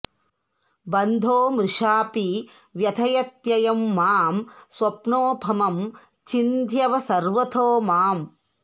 बन्धो मृषापि व्यथयत्ययं माम् स्वप्नोपमं छिन्ध्यव सर्वतो माम्